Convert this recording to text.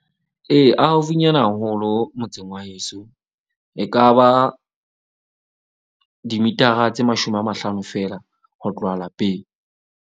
Ee, a haufinyana haholo motseng wa heso. E ka ba dimitara tse mashome a mahlano feela ho tloha lapeng.